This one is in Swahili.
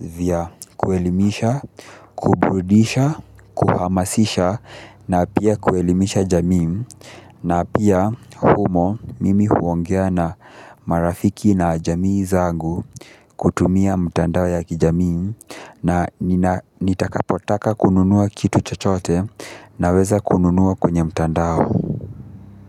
vya kuelimisha, kuburudisha, kuhamasisha na pia kuelimisha jamii na pia humo mimi huongea na marafiki na jamii zangu kutumia mtandao ya kijamii na nitakapotaka kununua kitu chochote, naweza kununuwa kwenye mtandao.